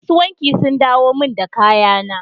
Masu wanki sun dawo min da kayana.